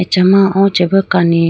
acha ma o chibi kani.